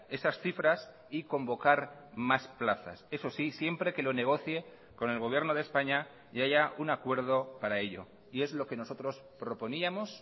esas cifras y convocar más plazas eso sí siempre que lo negocie con el gobierno de españa y haya un acuerdo para ello y es lo que nosotros proponíamos